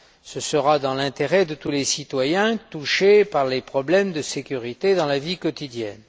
Ce sera dans l'intérêt de tous les citoyens touchés par les problèmes de sécurité dans la vie quotidienne.